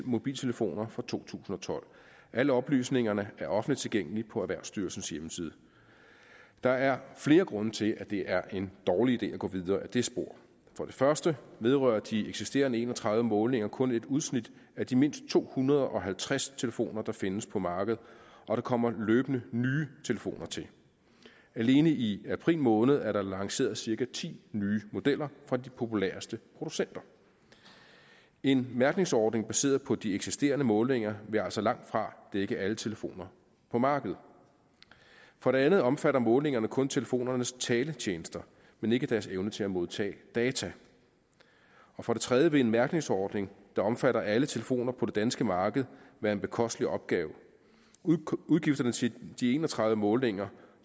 mobiltelefoner fra to tusind og tolv alle oplysningerne er offentligt tilgængelige på erhvervsstyrelsens hjemmeside der er flere grunde til at det er en dårlig idé at gå videre ad det spor for det første vedrører de eksisterende en og tredive målinger kun et udsnit af de mindst to hundrede og halvtreds telefoner der findes på markedet og der kommer løbende nye telefoner til alene i april måned er der lanceret cirka ti nye modeller fra de populæreste producenter en mærkningsordning baseret på de eksisterende målinger vil altså langtfra dække alle telefoner på markedet for det andet omfatter målingerne kun telefonernes taletjenester men ikke deres evne til at modtage data og for det tredje vil en mærkningsordning der omfatter alle telefoner på det danske marked være en bekostelig opgave udgifterne til de en og tredive målinger